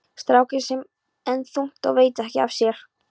Strákurinn sefur enn þungt og veit ekki af sér.